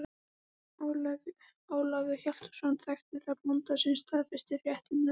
Ólafur Hjaltason þekkti þar bóndann sem staðfesti fréttirnar.